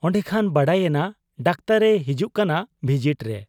ᱚᱱᱰᱮᱠᱷᱟᱱ ᱵᱟᱰᱟᱭᱮᱱᱟ ᱰᱟᱠᱛᱚᱨ ᱮ ᱦᱤᱡᱩᱜ ᱠᱟᱱᱟ ᱵᱷᱤᱡᱤᱴ ᱨᱮ ᱾